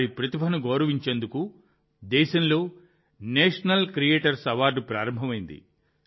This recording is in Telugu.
వారి ప్రతిభను గౌరవించేందుకు దేశంలో నేషనల్ క్రియేటర్స్ అవార్డు ప్రారంభమైంది